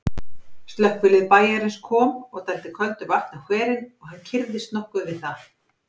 Slökkvilið bæjarins kom og dældi köldu vatni á hverinn, og hann kyrrðist nokkuð við það.